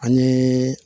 Ani